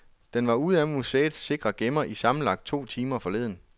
Den var ude af museets sikre gemmer i sammenlagt to timer forleden.